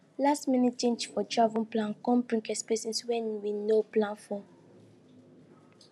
lastminute change for travel plan come bring expenses wey we no plan for